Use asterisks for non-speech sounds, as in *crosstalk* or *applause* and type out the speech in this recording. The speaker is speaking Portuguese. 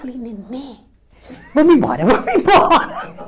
Falei, Nenê, vamos embora, vamos embora. *laughs*